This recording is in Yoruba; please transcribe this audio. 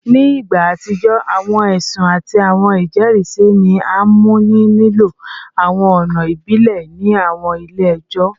Ni igba atijọ, awọn ẹsun ati awọn ijẹrisi ni a mu ni lilo awọn ọna ibile ni awọn ile-ẹjọ